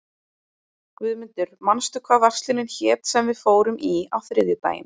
Guðmundur, manstu hvað verslunin hét sem við fórum í á þriðjudaginn?